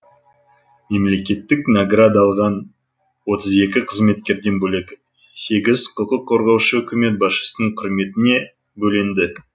мемлекеттік награда алған отыз екі қызметкерден бөлек сегіз құқық қорғаушы үкімет басшысының құрметіне бөленді